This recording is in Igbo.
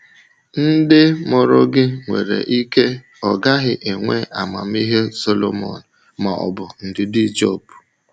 Ndị mụrụ gị nwere ike ọ gaghị enwe amamihe Solomon ma ọ bụ ndidi Job.